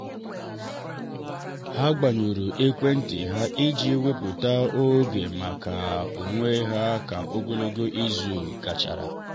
ha gbanyụrụ ekwentị ha iji wepụta oge maka onwe ha ka ogologo izu gachara.